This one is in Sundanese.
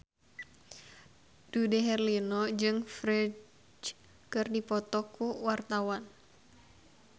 Dude Herlino jeung Ferdge keur dipoto ku wartawan